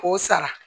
K'o sara